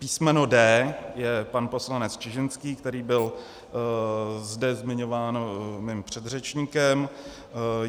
Písmeno D je pan poslanec Čižinský, který byl zde zmiňován mým předřečníkem.